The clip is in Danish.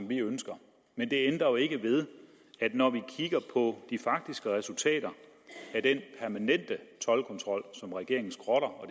vi ønsker men det ændrer jo ikke ved at når vi kigger på de faktiske resultater af den toldkontrol som regeringen skrotter og